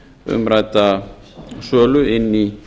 umrædda sölu inn í